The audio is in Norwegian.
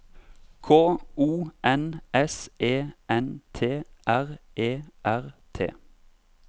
K O N S E N T R E R T